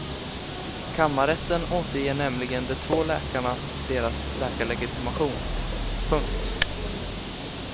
Kammarrätten återger nämligen de två läkarna deras läkarlegitimation. punkt